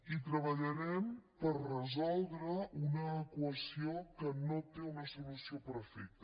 i treballarem per resoldre una equació que no té una solució perfecte